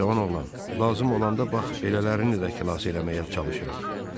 "Cavan oğlan, lazım olanda bax belələrini də xilas eləməyə çalışırıq."